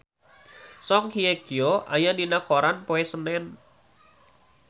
Song Hye Kyo aya dina koran poe Senen